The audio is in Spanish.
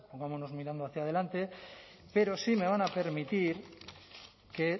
vamos mirando hacia adelante pero sí me van a permitir que